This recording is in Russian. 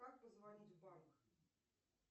как позвонить в банк